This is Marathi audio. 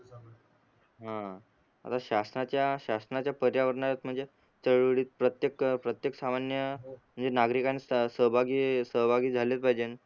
ह आता शासनाच्या शासनाच्या पर्यावरणात म्हणजे चळवळीत प्रत्येक प्रत्येक सामान्य म्हणजे नागरिकान सहभागी सहभागी झालेच पाहिजे